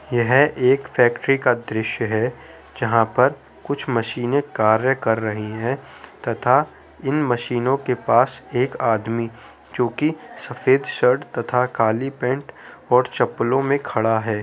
यह एक फैक्ट्री का दृश्य है जहाँ पर कुछ मशीने कार्य कर रही है तथा इन मशीनों के पास एक आदमी जोकि सफेद शर्ट तथा काली पैंट और चप्पलों में खड़ा है